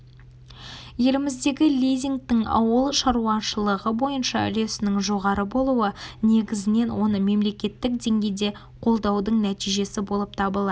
еліміздегі лизингтің ауыл шаруашылығы бойынша үлесінің жоғары болуы негізінен оны мемлекеттік деңгейде қолдаудың нәтижесі болып табылады